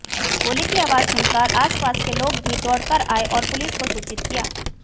गोली की आवाज सुनकर आसपास के लोग भी दौड़कर आए और पुलिस को सूचित किया